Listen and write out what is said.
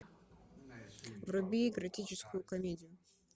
вруби эротическую комедию